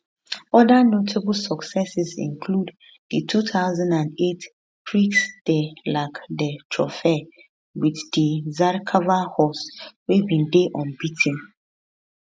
other notable successes include di 2008 prix de larc de triomphe with di zarkava horse wey bin dey unbea ten